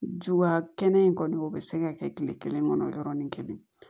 Juguya kɛnɛ in kɔni o bɛ se ka kɛ kile kelen kɔnɔ yɔrɔnin kelen